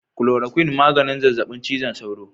"Chloroquine " maganin zazzabin cizon sauro.